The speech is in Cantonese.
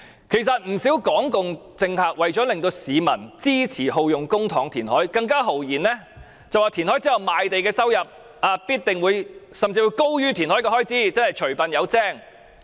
其實，不少港共政客為了令市民支持耗用公帑填海，更豪言填海後的賣地收入甚至高於填海開支，即除笨有精。